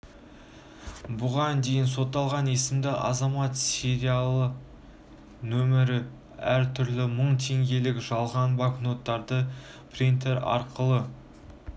бұған дейін сотталған есімді азамат сериялары мен нөмірі әр түрлі мың теңгелік жалған банкноттарды принтерлер арқылы